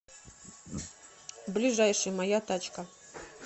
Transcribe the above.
ближайший моя тачка